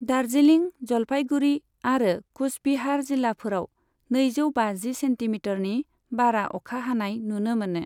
दार्जिलिं, जलपाइगुड़ी आरो कुचबिहार जिल्लाफोराव नैजौ बाजि सेन्टिमिटरनि बारा अखा हानाय नुनो मोनो।